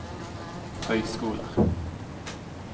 høyskoler